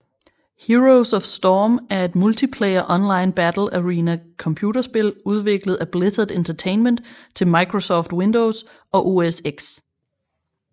Heroes of Storm er et multiplayer online battle arena computerspil udviklet af Blizzard Entertainment til Microsoft Windows og OS X